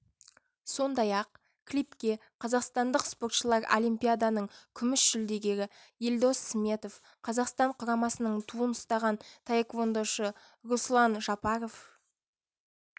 сондай-ақ клипке қазақстандық спортшылар олимпиаданың күміс жүлдегері елдос сметов қазақстан құрамасының туын ұстаған таэквондошы руслан жапаров